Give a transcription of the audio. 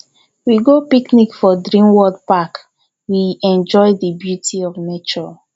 we go picnic for dream world park we enjoy di beauty of nature